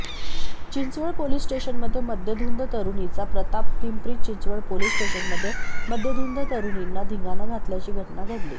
Chinchwad police स्टेशनमध्ये मद्यधुंद तरुणीचा प्रतापपिंपरी चिंचवड पोलीस स्टेशनमध्ये मद्यधुंद तरुणींनी धिंगाणा घातल्याची घटना घडली